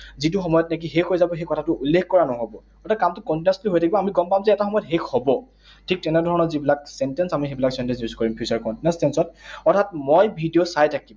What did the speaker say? যিটো সময়ত নেকি শেষ হৈ যাব, সেই কথাটো উল্লেখ কৰা নহব। অর্থাৎ কামটো continuously হৈ থাকিব, আমি গম পাম যে এটা সময়ত শেষ হব। ঠিক তেনে ধৰণৰ যিবিলাক sentence, আমি সেইবিলাক sentence use কৰিম future continuous tense ত। অৰ্থাৎ মই ভিডিঅ চাই থাকিম।